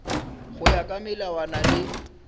go ya ka melawana le